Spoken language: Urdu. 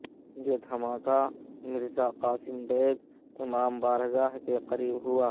یہ دھماکہ مرزا قاسم بیگ امام بارگاہ کے قریب ہوا